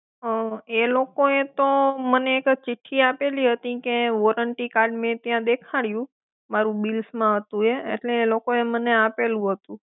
એ લોકો એ તો મને એક ચિટ્ઠી આપેલી હતી કે મેં મારૂ વોરંટી કાર્ડ મેં ત્યાં દેખાડ્યું મારું બીલમાં હતું એ એટલે એ લોકોએ મને આપેલું હતું.